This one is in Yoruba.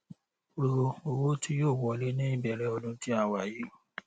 ro owó tí yóò wọlé ní ìbẹrẹ ọdún tí a wà yìí